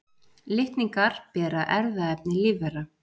Litningar bera erfðaefni lífvera.